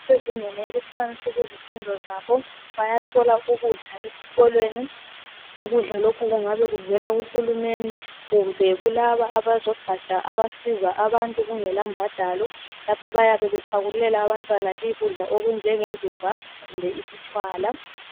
Abasezingeni eliphansi kuzifundo zabo bayathola ukudla esikolweni. Ukudla lokhu kungabe kuvela ku hulumeni kumbe kulaba abezogatsha abasiza abantu kungela mbadalo, lapho abayabe bephakululela abantwana ukudla okunjenge ndumba kumbe isitshwala.